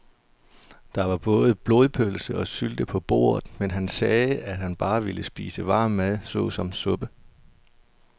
Der var både blodpølse og sylte på bordet, men han sagde, at han bare ville spise varm mad såsom suppe.